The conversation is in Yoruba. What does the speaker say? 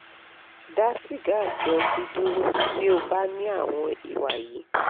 da siga ati oti duro ti o ba ni awọ́n iwa yi